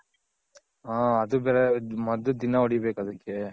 ಹಾ ಅದು ಬೇರೆ ಮದ್ದ್ ದಿನ ಹೊಡಿ ಬೇಕ್ ಅದಕ್ಕೆ.